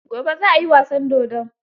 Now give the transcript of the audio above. Gobe za a yi wasan dodon.